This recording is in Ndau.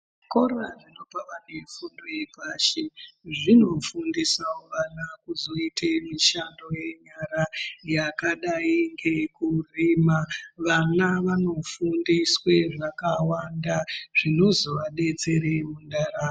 Zvikora zvinobva vantu vefundo yepashi zvinofundisa vana kuzoitawo mishando yenyara yakadai ngekurima vana vanofundiswe zvakawanda zvinozovadetserame mundaramo.